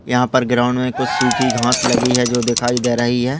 यहा पर ग्राउंड मे कुछ सुखी घाँस लगी है जो दिखाई दे रही है।